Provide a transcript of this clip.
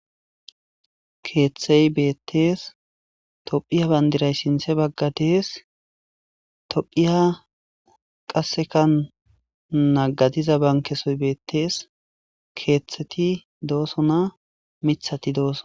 keeththey beettees tophiya bandiray sinthe bagga dees tophiya qasseka naggadiza bankesoy beettees keeththeti dooso na mithati doosson